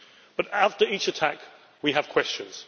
But after each attack we have questions.